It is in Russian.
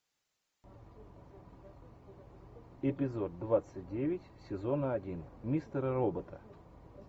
эпизод двадцать девять сезона один мистера робота